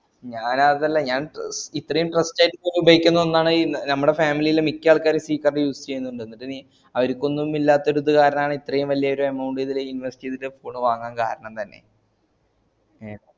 ഞാനതല്ല ഞാൻ ഇത്‍രീം trust ആയിട്ട് ഉപയോഗിക്കുന്ന ഒന്നാണീ നമ്മടെ family ലെ മിക്ക ആളുകളും use ചെയ്യുന്നുണ്ട് അവർക്കൊന്നും ഇല്ലാത്തൊരു ത് കാരനായാണ് ഇത്രിം വലിയ ഒരു amount ഇതില് invest ഇയ്‌തിട്ട് phone വാങ്ങാൻ കാരണം തന്നെ